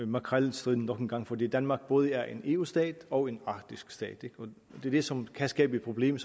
makrelstriden nok en gang fordi danmark både er en eu stat og en arktisk stat det er det som kan skabe problemer